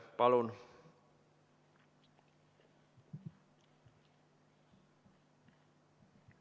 Palun!